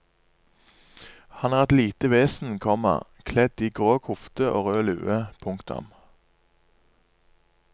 Han er et lite vesen, komma kledd i grå kofte og rød lue. punktum